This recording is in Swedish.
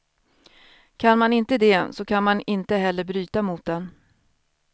Kan man inte det så kan man inte heller bryta mot den.